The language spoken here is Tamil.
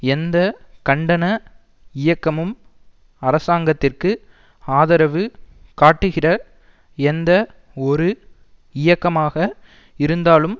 எந்த கண்டன இயக்கமும் அரசாங்கத்திற்கு ஆதரவு காட்டுகிற எந்த ஒரு இயக்கமாக இருந்தாலும்